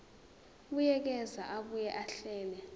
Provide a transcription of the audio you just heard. buyekeza abuye ahlele